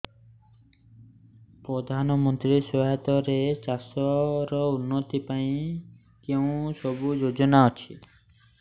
ପ୍ରଧାନମନ୍ତ୍ରୀ ସହାୟତା ରେ ଚାଷ ର ଉନ୍ନତି ପାଇଁ କେଉଁ ସବୁ ଯୋଜନା ଅଛି